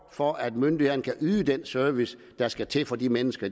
for at myndighederne kan yde den service der skal til for de mennesker